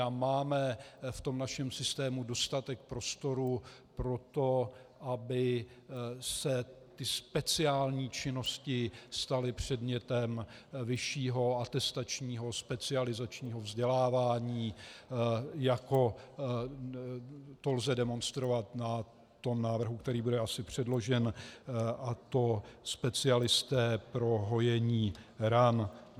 A máme v tom našem systému dostatek prostoru pro to, aby se ty speciální činnosti staly předmětem vyššího atestačního specializačního vzdělávání, jako to lze demonstrovat na tom návrhu, který asi bude předložen, a to specialisté pro hojení ran.